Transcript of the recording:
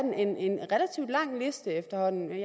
efterhånden en